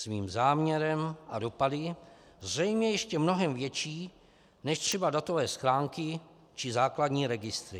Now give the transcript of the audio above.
Svým záměrem a dopady zřejmě ještě mnohem větší než třeba datové schránky či základní registry.